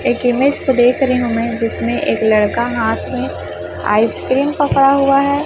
एक इमेज को देख रही हूं मैं जिसमें एक लड़का हाथ में आइसक्रीम पकड़ा हुआ है।